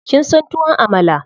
Kin son tuwon Amala?